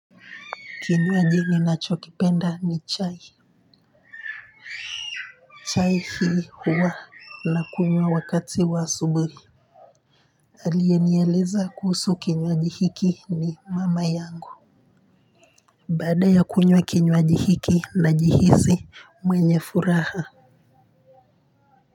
Kinywaji ninacho kipenda ni chai. Chai hii huwa na kunywa wakati wa asubui aliye nieleza kuhusu kinywaji hiki ni mama yangu baada ya kunywa kinywaji hiki na jihisi mwenye furaha.